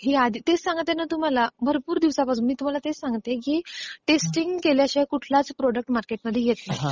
हेच सांगत आहे ना तुम्हाला, भरपूर दिवसांपासून. मी तुम्हाला तेच सांगते की टेस्टिंग केल्याशिवाय कुठलाच प्रॉडक्ट मार्केटमध्ये येत नाही